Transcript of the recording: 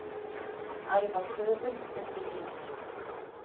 Æfa köfun undir ís